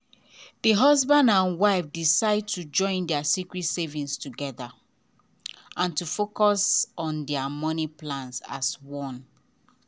the husband and wife decide to join their secret savings together and to focus on their money plans as one.